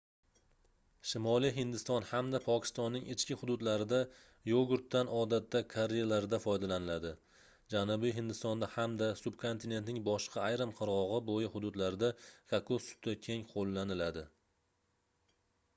shimoliy hindiston hamda pokistonning ichki hududlarida yogurtdan odatda karrilarda foydalaniladi janubiy hindistonda hamda subkontinentning boshqa ayrim qirgʻoq boʻyi hududlarida kokos suti keng qoʻllaniladi